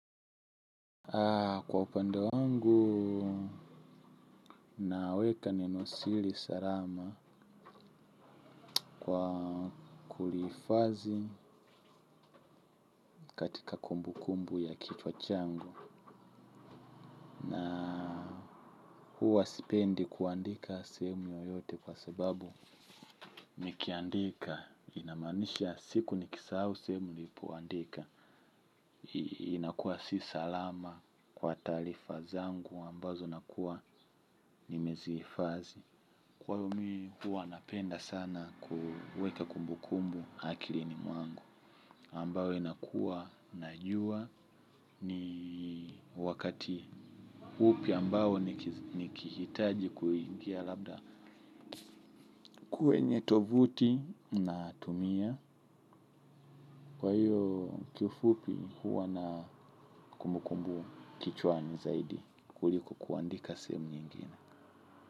Kwa upande wangu, naweka nenosiri salama kwa kulifazi katika kumbu kumbu ya kichwa changu. Huwa sipendi kuandika sehemu yoyote kwa sababu. Nikiandika, inamaanisha siku nikisahau sehemu nilipoandika. Inakuwa si salama kwa taalifa zangu ambazo nakuwa nimeziifazi. Kwa hivo mi huwa napenda sana kuweka kumbu kumbu. Akilini mwangu ambayo inakuwa najua ni wakati upi ambayo nikihitaji kuingia labda kwenye tovuti natumia kwa hiyo kiufupi huwa na kumbukumbu kichwani zaidi kuliko kuandika sehemu nyingine.